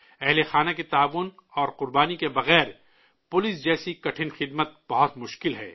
family کے تعاون اور قربانی کے بغیر پولیس جیسی مشکل خدمت بہت مشکل ہے